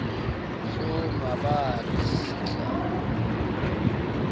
hloohongabaa re sihla a mo